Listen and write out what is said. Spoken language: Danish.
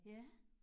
Ja